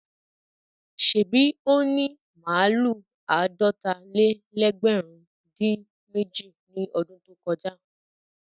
Ṣèbí ó ní màlúù àádọ́ta-lé-lẹ́gbẹ̀rún-dín-èjì ní ọdún tó kọjá?